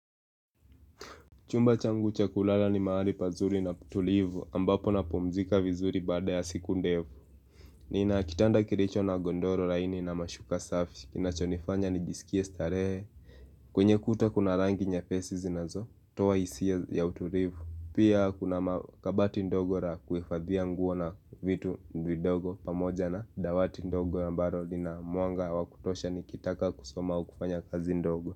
Chumba changu cha kulala ni mahali pazuri na tulivu ambapo napmzika vizuri baada ya siku ndefu Nina kitanda kiricho na gondoro laini na mashuka safi kinachonifanya nijisikiae starehe kwenye kuta kuna rangi nyepesi zinazotoa hisia ya utulivu. Pia kuna makabati ndogo ra kuhifadhia nguo na vitu vidogo pamoja na dawati ndogo ambaro lina mwanga wa kutosha nikitaka kusom au kufanya kazi ndogo.